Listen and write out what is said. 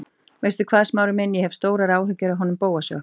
Veistu hvað, Smári minn, ég hef stórar áhyggjur af honum Bóasi okkar.